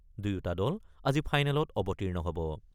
দুয়োটা দল আজি ফাইনেলত অৱতীৰ্ণ হ'ব।